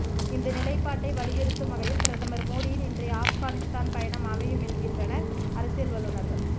இந்த நிலைப்பாட்டை வலியுறுத்தும் வகையில் பிரதமர் மோடியின் இன்றைய ஆப்கானிஸ்தான் பயணம் அமையும் என்கின்றனர் அரசியல் வல்லுநர்கள்